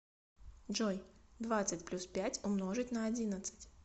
джой двадцать плюс пять умножить на одиннадцать